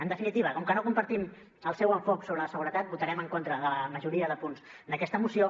en definitiva com que no compartim el seu enfocament sobre la seguretat votarem en contra de la majoria de punts d’aquesta moció